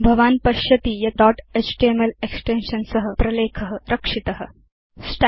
भवान् पश्यति यत् दोत् एचटीएमएल एक्सटेन्शन् सह प्रलेख रक्षित अभवत्